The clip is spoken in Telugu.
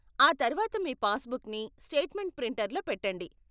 ఆ తర్వాత మీ పాస్బుక్ని స్టేట్మెంట్ ప్రింటర్లో పెట్టండి.